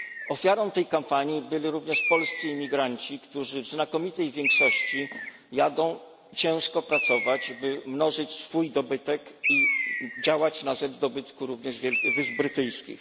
Ofiarą tej kampanii byli również polscy imigranci, którzy w znakomitej większości jadą ciężko pracować, by mnożyć swój dobytek i działać na rzecz dobytku wysp brytyjskich.